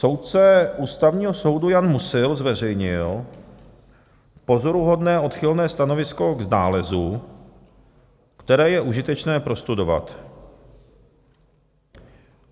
Soudce Ústavního soudu Jan Musil zveřejnil pozoruhodné odchylné stanovisko k nálezu, které je užitečné prostudovat.